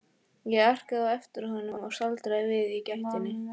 Ég arkaði á eftir honum en staldraði við í gættinni.